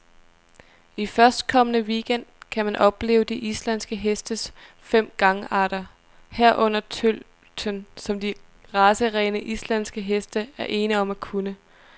I førstkommende weekend gang kan man opleve de islandske hestes fem gangarter, herunder tølten, som de racerene, islandske heste er ene om at kunne.